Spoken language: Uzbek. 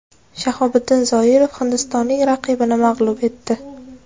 Shahobiddin Zoirov hindistonlik raqibini mag‘lub etdi.